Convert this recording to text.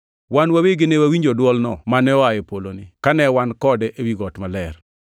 Wan wawegi ne wawinjo dwolno mane oa e poloni, kane wan kode ewi got maler.